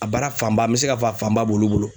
A baara fanba ,n be se ka fɔ a fanba b'olu bolo.